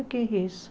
O que é que é isso?